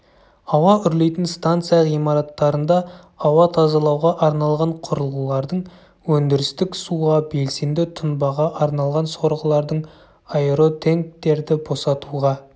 ауа үрлейтін станция ғимараттарында ауа тазалауға арналған құрылғылардың өндірістік суға белсенді тұнбаға арналған сорғылардың аэротенктерді босатуға